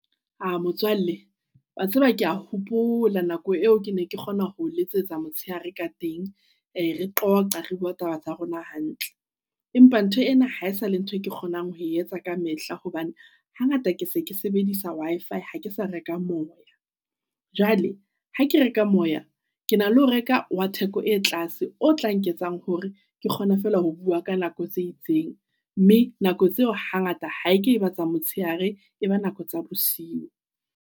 A motswalle wa tseba, kea hopola nako eo, ke ne ke kgona ho letsetsa motshehare ka teng. E re qoqe re bua taba tsa rona hantle, empa ntho ena hae sale ntho e ke kgonang ho etsa ka mehla hobane hangata ke se ke sebedisa Wi-Fi ha ke sa reka moya. Jwale ha ke reka moya ke na le ho reka wa theko e tlase o tla nketsang hore ke kgone fela ho bua ka nako tse itseng mme nako tseo hangata ha ke batla motshehare e ba nako tsa bosiu.